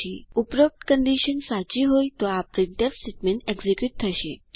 ઉપરોક્ત કન્ડીશન સાચી હોય તો આ પ્રિન્ટફ સ્ટેટમેન્ટ એક્ઝીક્યુટ થશે